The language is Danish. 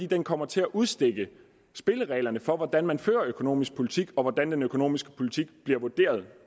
den kommer til at udstikke spillereglerne for hvordan man fører økonomisk politik og hvordan den økonomiske politik bliver vurderet